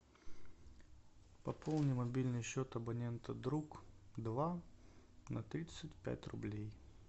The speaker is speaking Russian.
пополни мобильный счет абонента друг два на тридцать пять рублей